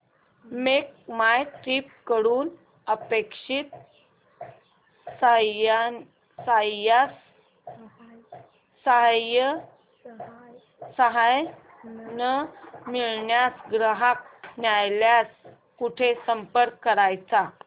make my trip कडून अपेक्षित सहाय्य न मिळाल्यास ग्राहक न्यायालयास कुठे संपर्क करायचा